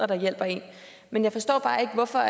der hjælper en men jeg forstår bare ikke hvorfor